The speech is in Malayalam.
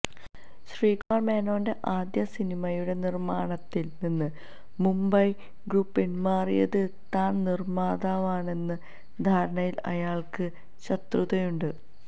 ശ്രീകുമാര് മേനോന്റെ ആദ്യ സിനിമയുടെ നിര്മ്മാണത്തില് നിന്ന് മുംബൈ ഗ്രൂപ്പ് പിന്മാറിയത് താന് നിമിത്തമാണെന്ന ധാരണയില് അയാള്ക്ക് ശത്രുതയുണ്ട്